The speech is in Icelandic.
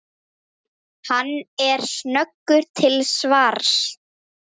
Hann er snöggur til svars.